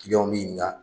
Kiliyanw b'i ɲininka